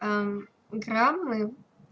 а граммы